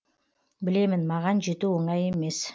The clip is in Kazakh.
білемін маған жету оңай емес